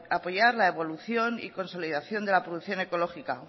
apoyar la evolución y consolidación de la producción ecológica